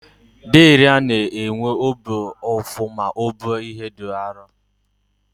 Deraa na-enwe obi ụfụ ma o buo ihe dị arụ.